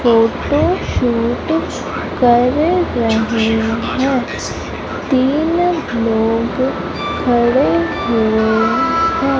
Photo shoot कर रहे हैं तीन लोग खड़े हुए हैं।